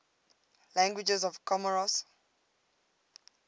languages of comoros